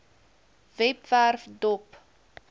webwerf dop